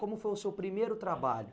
Como foi o seu primeiro trabalho?